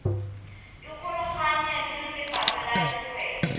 ikgolaganye le lefapha la dikgwebo